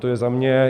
To je za mě.